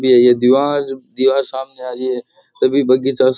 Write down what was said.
ये ये दीवार दीवार सामने आ रही है तभी बगीचा --